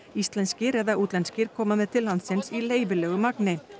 íslenskir eða útlenskir koma með til landsins í leyfilegu magni